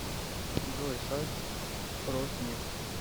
джой сайт роснефть